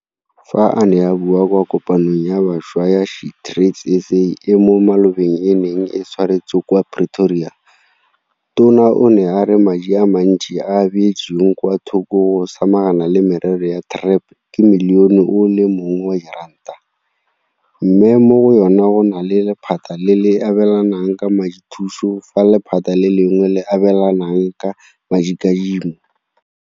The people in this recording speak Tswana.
Fa a ne a bua kwa Kopanong ya Bašwa ya SheTradesZA e mo malobeng e neng e tshwaretswe kwa Pretoria, Tona o ne a re madi a mantsi a a beetsweng kwa thoko go samagana le merero ya TREP ke Milione o le mongwe wa diranta, mme mo go yona go na le lephata le le abelanang ka madithuso fa lephata le lengwe le abelana ka madikadimo.